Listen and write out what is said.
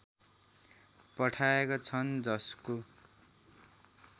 पठाएका छन् जसको